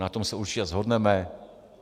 Na tom se určitě shodneme.